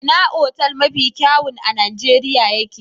Ina otal mafi kyawun a Nijeriya ye ke?